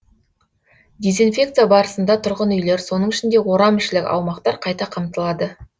дезинфекция барысында тұрғын үйлер соның ішінде орамішілік аумақтар қайта қамтылады